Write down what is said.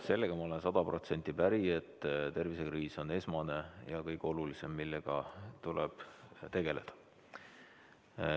Sellega ma olen sada protsenti päri, et tervisekriis on esmane ja kõige olulisem, millega tuleb tegeleda.